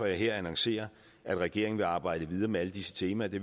jeg her annoncerer at regeringen vil arbejde videre med alle disse temaer det